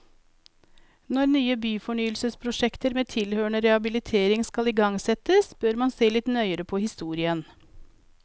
Når nye byfornyelsesprosjekter med tilhørende rehabilitering skal igangsettes, bør man se litt nøyere på historien.